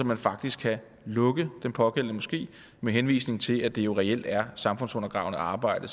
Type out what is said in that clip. man faktisk kan lukke den pågældende moské med henvisning til at det jo reelt er samfundsundergravende arbejde